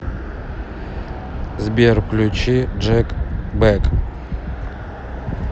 сбер включи джек бэк